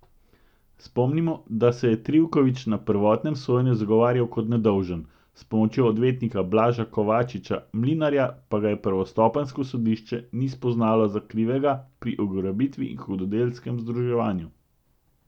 Spomnimo, da se je Trivković na prvotnem sojenju zagovarjal kot nedolžen, s pomočjo odvetnika Blaža Kovačiča Mlinarja pa ga prvostopenjsko sodišče ni spoznalo za krivega pri ugrabitvi in hudodelskem združevanju.